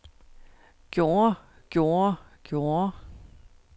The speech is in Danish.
gjorde gjorde gjorde